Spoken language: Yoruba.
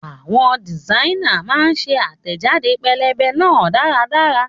Àwọn dìsáínà náà ṣe àtẹ̀jáde pẹ́lẹ́bẹ́ náà dáradára